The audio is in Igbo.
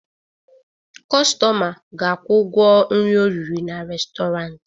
Kọstọma ga-akwụ ụgwọ nri o riri na restọrant.